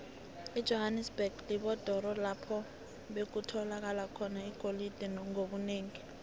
ijohanesberg lidorobho lapho bekutholakala khona igolide ngobunengi